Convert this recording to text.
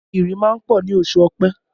Ìrì máa ń pọ̀ ní oṣù ọ̀pẹ